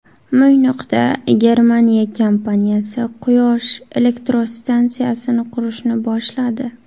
Mo‘ynoqda Germaniya kompaniyasi quyosh elektrostansiyasini qurishni boshladi.